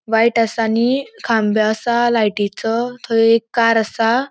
व्हाइट आसा आणि खांबे आसा लायटिचो थय एक कार आसा.